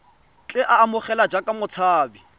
tle a amogelwe jaaka motshabi